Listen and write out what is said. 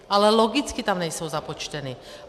Ale logicky tam nejsou započteny.